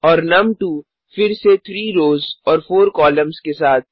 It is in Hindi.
और नुम2 फिर से 3रोज़ और 4कॉलम्स के साथ